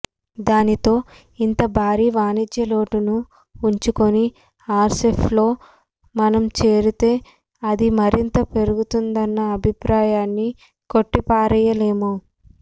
దానితో ఇంత భారీ వాణిజ్య లోటును ఉంచుకొని ఆర్సెప్లో మనం చేరితే అది మరింత పెరిగిపోతుందన్న అభిప్రాయాన్ని కొట్టిపారేయలేము